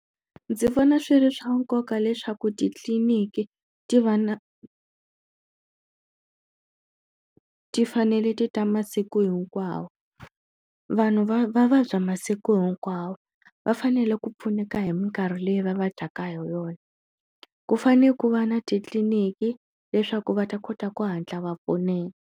Ndzi vona swi ri swa nkoka leswaku titliniki ti va na ti fanele ti ta masiku hinkwawo vanhu va va vabya masiku hinkwawo va fanele ku pfuneka hi minkarhi leyi va vabyaka hi yona ku fane ku va na titliniki leswaku va ta kota ku hatla va pfuneka.